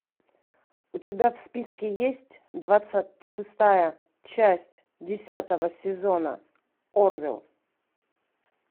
у тебя в списке есть двадцать шестая часть десятого сезона орвилл